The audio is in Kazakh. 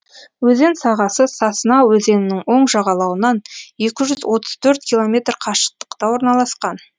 өзен сағасы сосна өзенінің оң жағалауынан екі жүз отыз төрт километр қашықтықта орналасқан